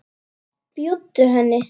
Bjóddu henni.